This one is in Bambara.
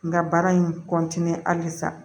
N ka baara in halisa